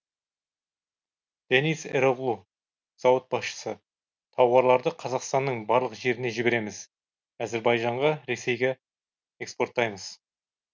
дениз эроглу зауыт басшысы тауарларды қазақстанның барлық жеріне жібереміз әзербайжанға ресейге экспорттаймыз